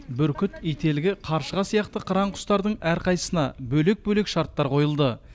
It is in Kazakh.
бүркіт ителгі қаршыға сияқты қыран құстардың әрқайсысына бөлек бөлек шарттар қойылды